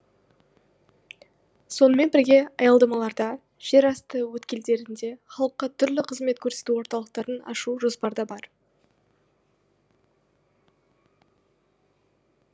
сонымен бірге аялдамаларда жерасты өткелдерінде халыққа түрлі қызмет көрсету орталықтарын ашу жоспарда бар